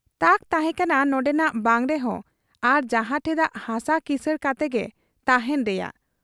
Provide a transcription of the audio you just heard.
ᱛᱟᱠ ᱛᱟᱦᱮᱸ ᱠᱟᱱᱟ ᱱᱚᱱᱰᱮᱱᱟᱜ ᱵᱟᱝ ᱨᱮᱦᱚᱸ ᱟᱨ ᱡᱟᱦᱟᱸ ᱴᱷᱮᱫᱟᱜ ᱦᱟᱥᱟ ᱠᱤᱥᱟᱹᱬ ᱠᱟᱛᱮᱜᱮ ᱛᱟᱦᱮᱸᱱ ᱨᱮᱭᱟᱜ ᱾